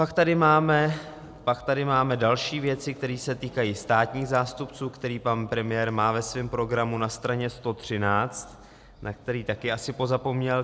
Pak tady máme další věci, které se týkají státních zástupců, které pan premiér má ve svém programu na straně 113, na který taky asi pozapomněl.